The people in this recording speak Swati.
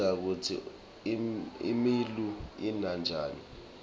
sifundza kutsi imuula ina njani